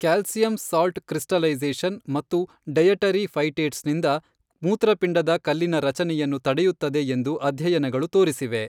Calcium salt crystallisation ಮತ್ತು dietary phytates ನಿಂದ ಮೂತ್ರಪಿಂಡದ ಕಲ್ಲಿನ ರಚನೆಯನ್ನು ತಡೆಯುತ್ತದೆ ಎಂದು ಅಧ್ಯಯನಗಳು ತೋರಿಸಿವೆ.